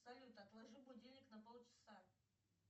салют отложи будильник на полчаса